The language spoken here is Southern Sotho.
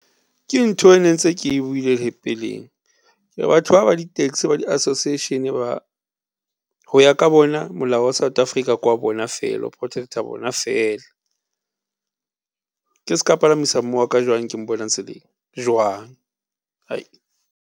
Ke ntho e ne ntse ke buile le peleng batho ba ba di-taxi, ba di-Association ba, ho ya ka bona molao wa South Africa ko wa bona feela o protect-a bona feela. Ke se ka palamisa mme wa ka jwang, ke mbona tseleng jwang? .